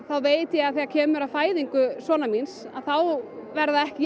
þá veit ég að þegar kemur að fæðingu sonar míns verða ekki